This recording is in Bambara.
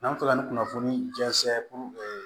N'an bɛ fɛ ka nin kunnafoni jɛnsɛn puruke